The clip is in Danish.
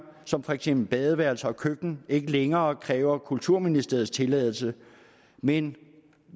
som for eksempel badeværelse og køkken ikke længere kræver kulturministeriets tilladelse men